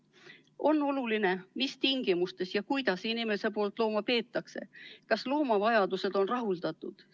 Aga on oluline, mis tingimustes, kuidas inimene loomi peab ja kas loomade vajadused on rahuldatud.